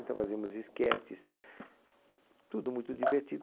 Então fazíamos esquetes, tudo muito